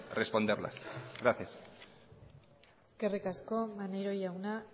responderlas gracias eskerrik asko maneiro jauna